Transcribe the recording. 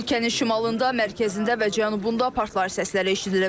Ölkənin şimalında, mərkəzində və cənubunda partlayış səsləri eşidilib.